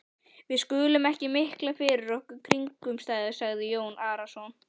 Við skulum ekki mikla fyrir okkur kringumstæður, sagði Jón Arason.